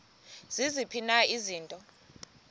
ziziphi na izinto